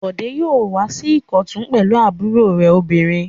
Bọ̀dé yóò wá sí Ìkọ̀tún pẹ̀lú àbúrò rẹ̀ obìnrin.